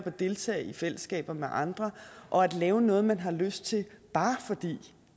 at deltage i fællesskaber med andre og at lave noget man har lyst til bare fordi